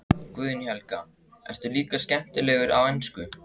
Guðný Helga: Ertu líka skemmtilegur á ensku?